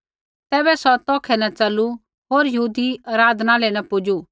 तैबै सौ तौखै न च़लू होर यहूदी आराधनालय न पुजू